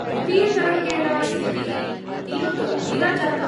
द्वितीयतरङ्गेण स्थितिः अतीव गम्भीरा जाता।